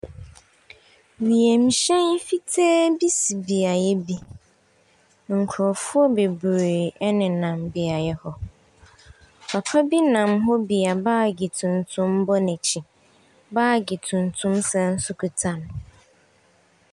Wiemhyɛn fitaa bi si beaeɛ bi, nkurɔfoɔ bebree nenam beaeɛ hɔ. papa bi nam hɔ bi a baage tuntum bɔ n’akyi, baage tuntum san so kita no.